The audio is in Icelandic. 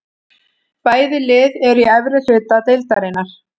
Bæði lið eru í efri hluta deildarinnar.